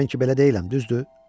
Mən ki belə deyiləm, düzdür?